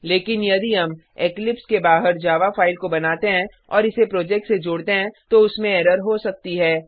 लेकिन यदि हम इक्लिप्स के बाहर जावा फाइल को बनाते हैं और इसे प्रोजेक्ट से जोडते हैं तो उसमें एरर हो सकती है